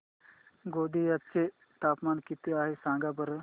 गोंदिया चे तापमान किती आहे सांगा बरं